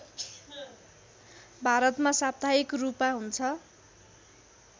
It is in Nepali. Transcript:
भारतमा साप्ताहिक रूपा हुन्छ